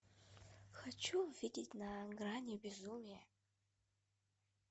хочу увидеть на грани безумия